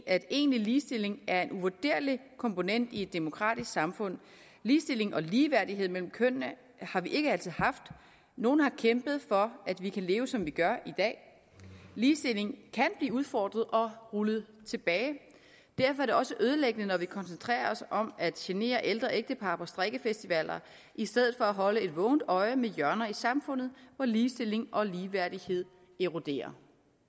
at egentlig ligestilling er en uvurderlig komponent i et demokratisk samfund ligestilling og ligeværdighed mellem kønnene har vi ikke altid haft nogen har kæmpet for at vi kan leve som vi gør i dag ligestillingen kan blive udfordret og rullet tilbage derfor er det også ødelæggende når vi koncentrerer os om at genere ældre ægtepar på strikkefestivaler i stedet for at holde et vågent øje med hjørner i samfundet hvor ligestilling og ligeværdighed eroderer